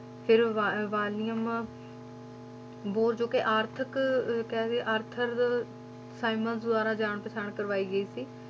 ਫਿਰ ਵਾ~ ਵਾਲੀਅਮ ਬੋਰ ਜੋ ਕਿ ਆਰਥਕ ਕਹਿ ਦੇਈਏ ਆਰਥਰ ਸਾਇਮਨਜ਼ ਦੁਆਰਾ ਜਾਣ-ਪਛਾਣ ਕਰਵਾਈ ਗਈ ਸੀ।